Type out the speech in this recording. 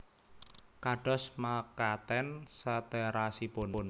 Kados mekaten saterasipun